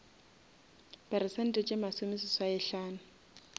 peresente tše masome seswai hlano